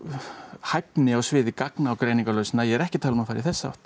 hæfni á sviði gagna og greiningarlausna en ég er ekki að tala um að fara í þessa átt